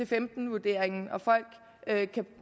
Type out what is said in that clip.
femten vurderingen og folk